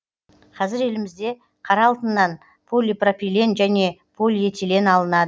қазір елімізде қара алтыннан полипропилен және полиэтилен алынады